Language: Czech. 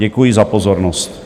Děkuji za pozornost.